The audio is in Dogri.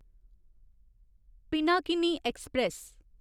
पिनाकिनी ऐक्सप्रैस